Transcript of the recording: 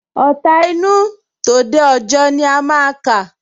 Ọ̀ta inú, tòde òjọ ni a máa kà